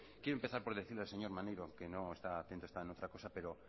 quiero empezar por decirle al señor maneiro que no está atento está en otra cosa pero